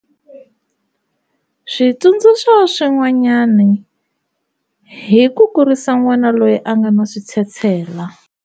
Switsundzuxo swin'wanyana hi ku kurisa n'wana loyi a nga na switshetshela.